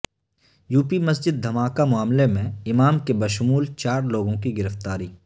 UP مسجد دھماکہ معاملہ میں امام کے بشمول چارلوگوں کی گرفتاری